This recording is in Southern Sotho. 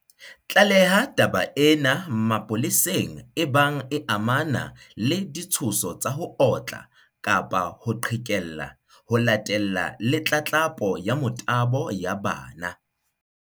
Tlaleha taba ena mapo leseng ebang e amana le ditshoso tsa ho otla kapa ho qhekella, ho latella le tlatlapo ya motabo ya bana.